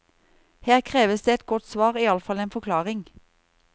Her kreves det et godt svar, iallfall en forklaring.